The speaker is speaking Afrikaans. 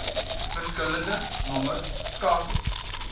verskillende nommers skakel